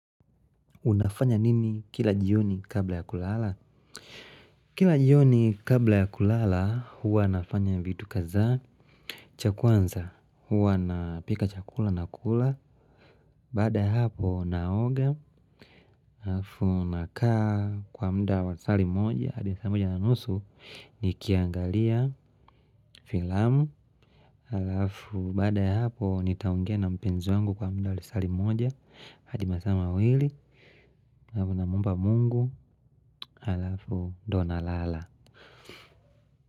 Unafanya nini kila jioni kabla ya kulala? Kila jioni kabla ya kulala, huwa nafanya vitu kadhaa, cha kwanza, huwa napika chakula na kula. Baada hapo, naoga, halafu, nakaa kwa muda wa lisaa limoja, hadi saa moja na nusu, nikiangalia filamu. Alafu baada hapo nitaongea na mpenzi wangu kwa muda wa lisaa limoja hadi masaa mawili alafu namuomba mungu Alafu ndiyo nalala.